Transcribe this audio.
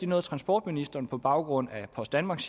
noget transportministeren siger på baggrund af post danmarks